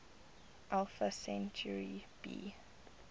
alpha centauri b